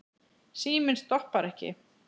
Síminn stoppar ekki.